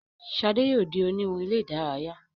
Shade yóò dì oniwun ilé-idaraya.